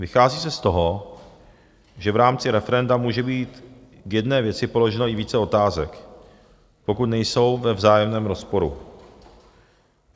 Vychází se z toho, že v rámci referenda může být k jedné věci položeno i více otázek, pokud nejsou ve vzájemném rozporu.